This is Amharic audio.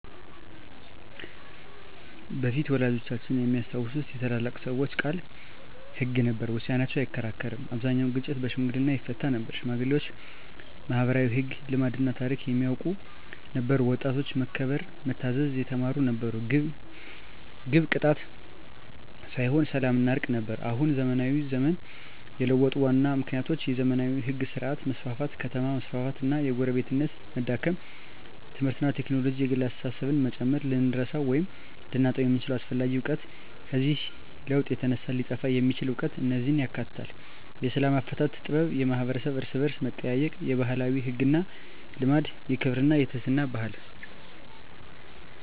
በፊት (ወላጆቻችን የሚያስታውሱት) የታላላቅ ሰዎች ቃል ሕግ ነበር፤ ውሳኔያቸው አይከራከርም አብዛኛውን ግጭት በሽምግልና ይፈታ ነበር ሽማግሌዎች ማኅበራዊ ሕግ፣ ልማድና ታሪክ የሚያውቁ ነበሩ ወጣቶች መከበርና መታዘዝ የተማሩ ነበሩ ግብ ቅጣት ሳይሆን ሰላምና እርቅ ነበር አሁን (ዘመናዊ ዘመን) የለውጡ ዋና ምክንያቶች የዘመናዊ ሕግ ሥርዓት መስፋፋት ከተማ መስፋፋት እና የጎረቤትነት መዳከም ትምህርትና ቴክኖሎጂ የግል አስተሳሰብን መጨመር ልንረሳው ወይም ልናጣው የምንችለው አስፈላጊ እውቀት ከዚህ ለውጥ የተነሳ ሊጠፋ የሚችል እውቀት እነዚህን ያካትታል፦ የሰላም አፈታት ጥበብ የማኅበረሰብ እርስ–በርስ መጠያየቅ የባህላዊ ሕግና ልማድ የክብርና የትሕትና ባህል